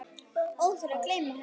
Óþarfi að gleyma henni!